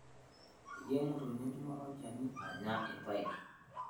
etii emotonyi enchumata olchani anya ilpeera